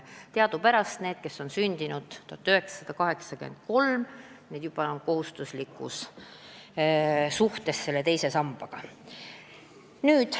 Teadupärast on neile, kes on sündinud kas aastal 1983 või hiljem, teine sammas juba kohustuslik.